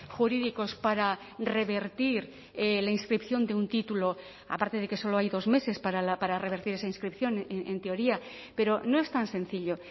jurídicos para revertir la inscripción de un título aparte de que solo hay dos meses para revertir esa inscripción en teoría pero no es tan sencillo